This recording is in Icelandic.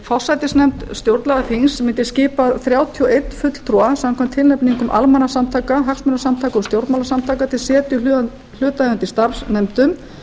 forsætisnefnd stjórnlagaþings mundi skipa þrjátíu og einn fulltrúa samkvæmt tilnefningum almannasamtaka hagsmunasamtaka og stjórnmálasamtaka til setu í hlutaðeigandi starfsnefndum